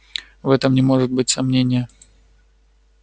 в этом не может быть сомнения